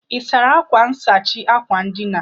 Ị́ sara akwa nsachi akwa ndina?